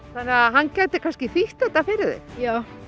hann gæti kannski þýtt þetta fyrir þig já